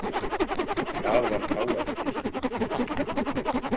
Hvað var þá eftir?